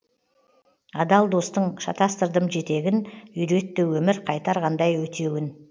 адал достың шатастырдым жетегін үйретті өмір қайтарғандай өтеуін